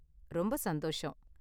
ரொம்ப சந்தோஷம்.